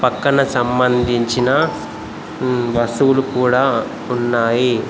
పక్కన సంబంధించిన వస్తువులు కూడా ఉన్నాయి.